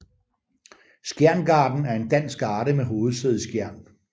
Skjern Garden er en dansk garde med hovedsæde i Skjern